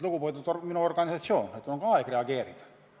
Lugupeetud organisatsioon, on aeg reageerida!